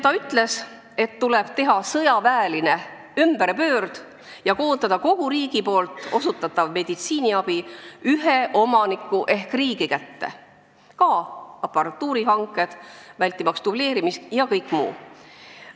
" Ta ütles, et tuleb teha sõjaväest tuntud ümberpöörd ja koondada kogu riigi osutatav meditsiiniabi ühe omaniku ehk riigi kätte, ka aparatuurihanked, vältimaks dubleerimist, ja kõik muu.